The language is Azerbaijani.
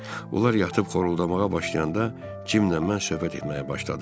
Onlar yatıb xoruldamğa başlayanda Cimmlə mən söhbət etməyə başladıq.